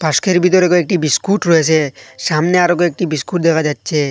বাস্কের ভিতরে কয়েকটি বিস্কুট রয়েছে সামনে আরও কয়েকটি বিস্কুট দেখা যাচ্ছে।